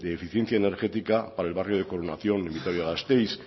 de eficiencia energética para el barrio de coronación en vitoria gasteiz